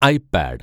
I pad